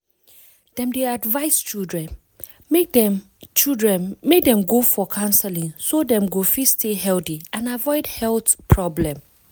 dem dey advise children make dem children make dem go for counseling so dem go fit stay healthy and avoid health problem